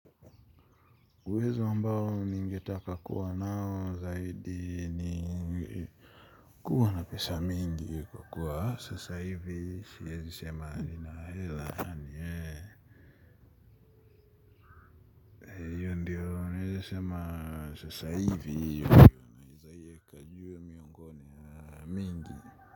Uwezo ambao ningetaka kuwa nao zaidi ni kuwa na pesa mingi kwa kuwa sasa hivi. Sasa siezi sema nina hela miongoni mingi.